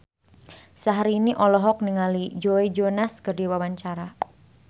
Syahrini olohok ningali Joe Jonas keur diwawancara